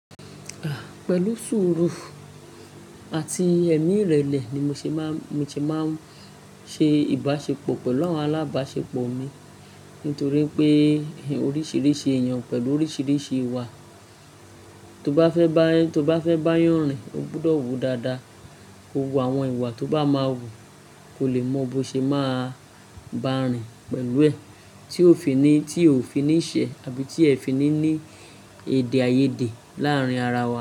Ah! Pẹ̀lú sùúrù àti ẹ̀míìrẹ̀lẹ̀ ni mo ṣe máa, mo ti máa ń ṣe ìbáṣepọ̀ pẹ̀lú àwọn alábáṣepọ̀ mi nítorí pé oríṣiríṣi èèyàn pẹ̀lú oríṣiríṣi ìwà. Tó bá fẹ́ bá yànrìn, ó gbọdọ̀ wò dáadáa. Ko wo àwọn ìwà tó bá máa wù kó lè mọ bó ṣe máa bá a rìn pẹ̀lú ẹ̀. Tí ó fi ní, tí ó fi ní ṣẹ́ àbí tí ẹ fi ní ní èdèàìyedè láàárín ara wa.